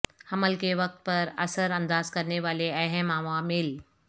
حمل کے وقت پر اثر انداز کرنے والے اہم عوامل